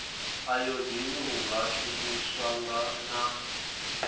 ayodini u nga shumiswa na